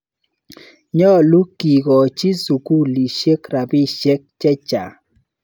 Nyalu kekochi sukulisyek rapisyek che chang'.